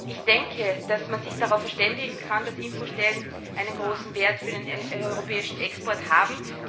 Ich denke, dass man sich darauf verständigen kann, dass Infostellen einen großen Wert für den europäischen Export haben.